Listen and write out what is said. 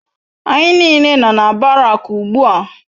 ANYI n'ile no na Barak ugbua